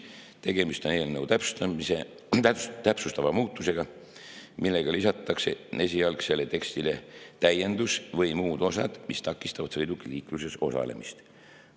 Tegemist on eelnõu täpsustava muudatusega, millega lisatakse esialgsele tekstile täiendus "või muud osad, mis takistavad sõiduki liikluses osalemist".